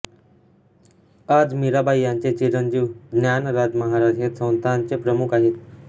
आज मीराबाई यांचे चिरंजीव ज्ञानराज महाराज हे संस्थानचे प्रमुख आहेत